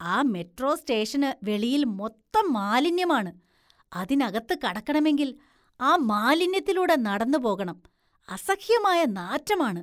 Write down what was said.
ആ മെട്രോ സ്‌റ്റേഷന് വെളിയില്‍ മൊത്തം മാലിന്യമാണ്. അതിനകത്ത് കടക്കണമെങ്കില്‍ ആ മാലിന്യത്തിലൂടെ നടന്നുപോകണം, അസഹ്യമായ നാറ്റമാണ്. .